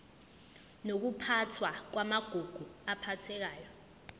nokuphathwa kwamagugu aphathekayo